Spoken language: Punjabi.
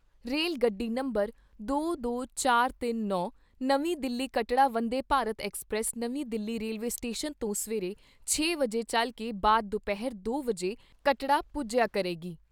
ਰੇਲ ਗੱਡੀ ਨੰਬਰ ਬਾਈ, ਤਰਤਾਲ਼ੀ, ਉਣਤਾਲ਼ੀ ਨਵੀਂ ਦਿੱਲੀ ਕਟੜਾ ਵੰਦੇ ਭਾਰਤ ਐਕਸਪ੍ਰੈਸ ਨਵੀਂ ਦਿੱਲੀ ਰੇਲਵੇ ਸਟੇਸ਼ਨ ਤੋਂ ਸਵੇਰੇ ਛੇ ਵਜੇ ਚੱਲ ਕੇ ਬਾਅਦ ਦੁਪਹਿਰ ਦੋ ਵਜੇ ਕਟੜਾ ਪੁੱਜਿਆ ਕਰੇਗੀ।